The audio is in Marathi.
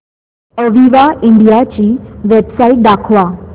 अविवा इंडिया ची वेबसाइट दाखवा